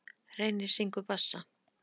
Reynir syngur bassa.